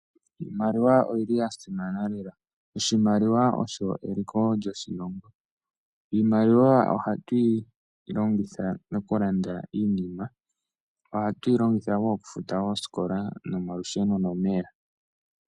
IImaiiwa oyi li ya simana. Oshimaliwa osho eliko lyoshilongo. Iimaliwa ohatu yi longitha okulanda iinima, oku futa oosikola osho wo okufuta olusheno nomeya.